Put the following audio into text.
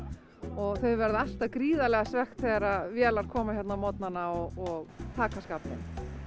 og þau verða alltaf gríðarlega svekkt þegar vélar koma hérna á morgnana og taka skaflinn